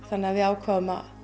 þannig að við ákváðum að